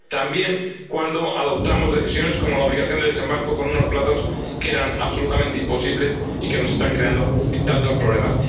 También cuando adoptamos decisiones como la obligación de desembarco con unos plazos que eran absolutamente imposibles y que nos están creando tantos problemas.